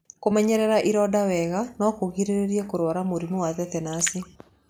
Kũmenyerera ironda wega no kũgirĩrĩrie kũrwara mũrimũ wa tetenaci.